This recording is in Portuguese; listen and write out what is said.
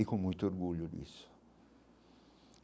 E com muito orgulho disso.